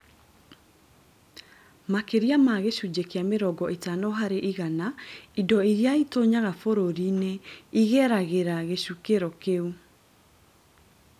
Makĩria ma gĩcunjĩ kĩa mĩrongo ĩtano harĩ igana indo iria citonyaga bũrũrũ-inĩ igeragĩra gĩcukĩro kĩu